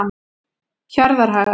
Hjarðarhaga